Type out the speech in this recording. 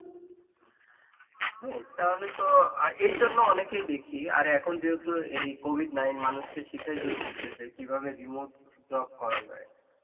হ্যাঁ তাহলে তো এই জন্য অনেকেই দেখি আর এখন যেহেতু এই covid নাইন মানুষকে শিখাই দিয়ে গেছে যে কিভাবে remote job করা যায়.